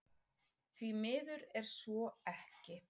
Því miður er svo ekki